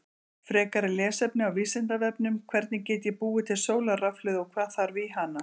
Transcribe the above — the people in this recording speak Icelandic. Frekara lesefni á Vísindavefnum: Hvernig get ég búið til sólarrafhlöðu og hvað þarf í hana?